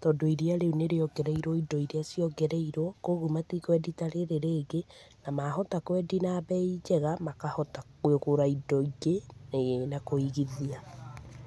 tondũ iria rĩũ nĩ rĩongereirwo indo iria ciongereirwo, kwoguo matikwendia ta rĩrĩ rĩngĩ na mahota kwendi na mbei njega makahota kũgũra indo ingĩ na kũigithia.